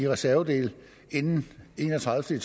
reservedele inden den enogtredivete